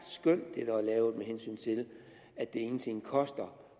lavet med hensyn til at det ingenting koster